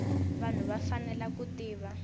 vanhu va fanele ku tiva